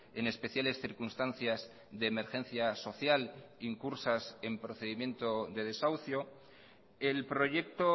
en especiales circunstancias de emergencia social incursas en procedimiento de desahucio el proyecto